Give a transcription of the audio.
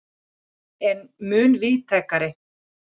er mun víðtækari.